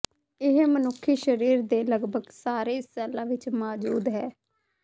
ਇਹ ਮਨੁੱਖੀ ਸਰੀਰ ਦੇ ਲਗਭਗ ਸਾਰੇ ਸੈੱਲਾਂ ਵਿੱਚ ਮੌਜੂਦ ਹੈ